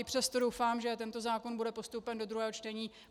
I přesto doufám, že tento zákon bude postoupen do druhého čtení.